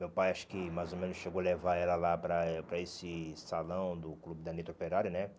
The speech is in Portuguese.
Meu pai acho que mais ou menos chegou a levar ela lá para para esse salão do clube da Operário, né?